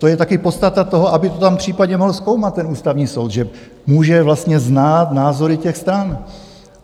To je taky podstata toho, aby to tam případně mohl zkoumat ten Ústavní soud, že může vlastně znát názory těch stran.